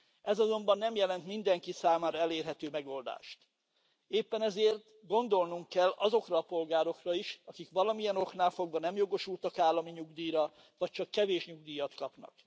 Ez azonban nem jelent mindenki számára elérhető megoldást, éppen ezért gondolnunk kell azokra a polgárokra is, akik valamilyen oknál fogva nem jogosultak állami nyugdíjra vagy csak kevés nyugdíjat kapnak.